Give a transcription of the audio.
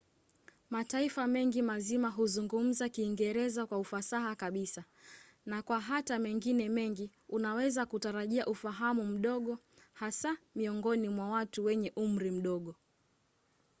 mataifa mengi mazima huzungumza kiingereza kwa ufasaha kabisa na kwa hata mengine mengi unaweza kutarajia ufahamu mdogo - hasa miongoni mwa watu wenye umri mdogo